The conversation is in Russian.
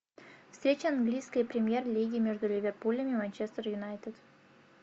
встреча английской премьер лиги между ливерпулем и манчестер юнайтед